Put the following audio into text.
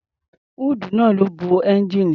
Húùdù náà ló bo ẹ́ńgijíìnì.